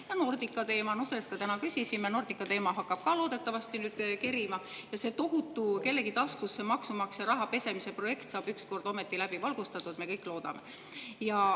Ja Nordica teema – selle kohta me täna küsisime – hakkab ka nüüd loodetavasti kerima ja see tohutu kellegi taskusse maksumaksja raha pesemise projekt saab ükskord ometi läbi valgustatud, me kõik seda loodame.